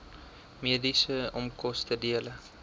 mediese onkoste dele